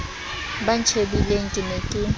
ba ntjhebileng ke ne ke